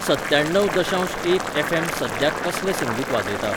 सत्त्याण्णव दशांश एक ऍफ ऍम सद्याक कसलें संगीत वाजयता?